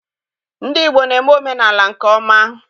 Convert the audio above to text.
Ndị Igbo na-eme omenaala nke ọma.